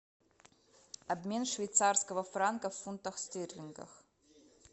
обмен швейцарского франка в фунтах стерлингов